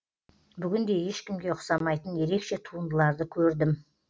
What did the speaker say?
бүгін де ешкімге ұқсамайтын ерекше туындыларды көрдім